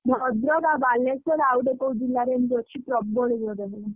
ଭଦ୍ରକ ଆଉ ବାଲେଶ୍ୱର ଆଉଗୋଟେ କୋଉ ଜିଲ୍ଲା ରେଏମିତି ଅଛି ପ୍ରବଳ ଜୋରେ ବାତ୍ୟା।